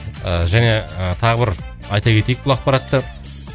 ыыы және ы тағы бір айта кетейік бұл ақпаратты